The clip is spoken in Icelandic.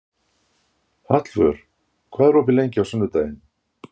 Hallvör, hvað er opið lengi á sunnudaginn?